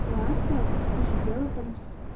класса ты сидела там